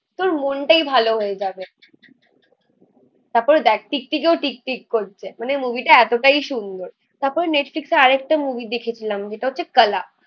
তোর মনটাই ভালো হয়ে যাবে তারপরে দ্যাখ টিকটিকিও টিকটিক করছে মানে মুভি টা এতটাই সুন্দর. তারপরে নেটফ্লিক্স এ আরেকটা মুভি দেখেছিলাম. যেটা হচ্ছে কালা